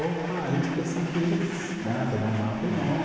Opa, a gente pensa que eles dançam não afro, não.